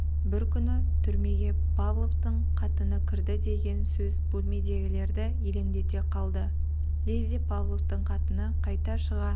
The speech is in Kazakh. бір күні түрмеге павловтың қатыны кірді деген сөз бөлмедегілерді елеңдете қалды лезде павловтың қатыны қайта шыға